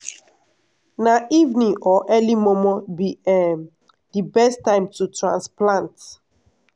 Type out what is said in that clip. na evening or early momo be um di best time to transplant.